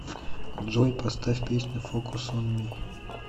джой поставь песню фокус он ми